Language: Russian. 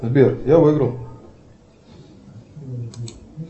сбер я выиграл